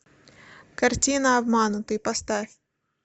картина обманутый поставь